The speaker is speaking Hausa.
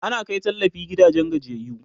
ana Kai tallafi gidajen gajiyayyu